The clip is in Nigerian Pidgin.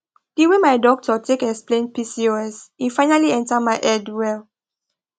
the way my doctor take explain pcos e finally enter my head well